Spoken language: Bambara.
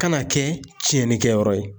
Kana kɛ tiɲɛnikɛyɔrɔ ye